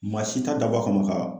Maa si ta dabɔ kama ka